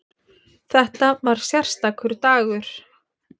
Þetta var sérstakur dagur.